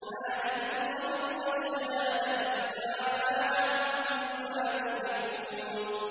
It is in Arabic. عَالِمِ الْغَيْبِ وَالشَّهَادَةِ فَتَعَالَىٰ عَمَّا يُشْرِكُونَ